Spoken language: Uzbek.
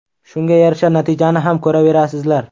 Shunga yarasha natijani ham ko‘raverasizlar.